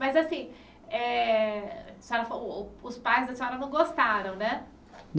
Mas assim, eh a senhora falou os pais da senhora não gostaram, né?